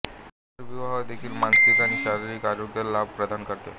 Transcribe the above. पुनर्विवाह देखील मानसिक आणि शारीरिक आरोग्य लाभ प्रदान करते